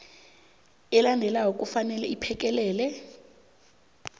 elandelako kufanele iphekelele